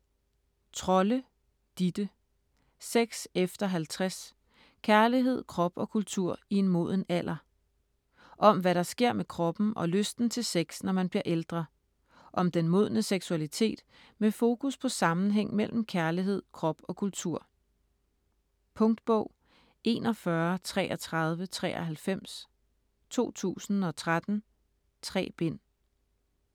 Trolle, Ditte: Sex efter 50: kærlighed, krop og kultur i en moden alder Om hvad der sker med kroppen og lysten til sex, når man bliver ældre. Om den modne seksualitet med fokus på sammenhæng mellem kærlighed, krop og kultur. Punktbog 413393 2013. 3 bind.